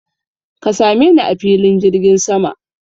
Ka same ni a filin jirgin sama!